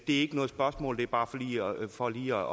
ikke noget spørgsmål det er bare for lige